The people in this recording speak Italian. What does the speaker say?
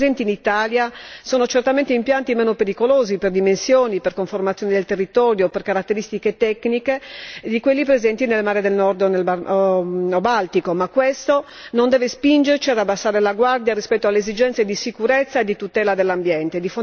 Quelli presenti in Italia sono certamente impianti meno pericolosi per dimensioni, per conformazione del territorio, per caratteristiche tecniche di quelli presenti nel Mare del Nord o nel Mar Baltico, ma questo non deve spingerci ad abbassare la guardia rispetto alle esigenze di sicurezza e di tutela dell'ambiente.